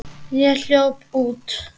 Ég hljóp út.